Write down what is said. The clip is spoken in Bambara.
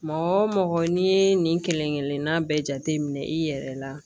Mɔgɔ wo mɔgɔ n'i ye nin kelen kelenna bɛɛ jate minɛ i yɛrɛ la